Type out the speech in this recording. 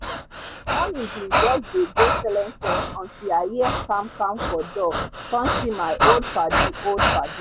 morning bin jus dey go selense until i hear kam kam for door com see my old padi old padi